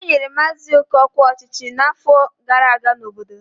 Enyere maazị oke ọkwa ọchịchị n'afọ gara aga n'obodo ya.